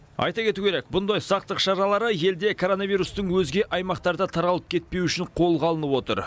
айта кету керек бұндай сақтық шаралары елде коронавирустың өзге аймақтарда таралып кетпеуі үшін қолға алынып отыр